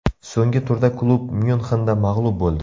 So‘nggi turda klub Myunxenda mag‘lub bo‘ldi.